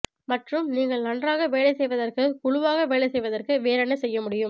மற்றும் நீங்கள் நன்றாக வேலை செய்வதற்கு குழுவாக வேலை செய்வதற்கு வேறு என்ன செய்ய முடியும்